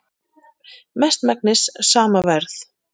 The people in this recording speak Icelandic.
Mestmegnis sama verð